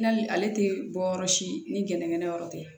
Nali ale tɛ bɔ yɔrɔ si ni gɛnɛŋɛnɛ yɔrɔ tɛ